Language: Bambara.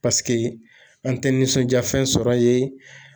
Paseke an tɛ nisɔndiya fɛn sɔrɔ ye.